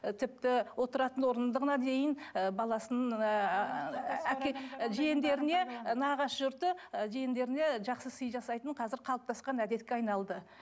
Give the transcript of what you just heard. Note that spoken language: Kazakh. тіпті отыратын орындығына дейін ы баласына әке жиендеріне і нағашы жұрты і жиендеріне жақсы сый жасайтын қазір қалыптасқан әдетке айналды